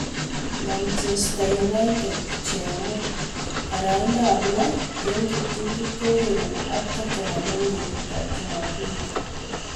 Manchester united chemuu paraindoop loo eng kiptulit kourereni ak totennham eng betut ap jumapili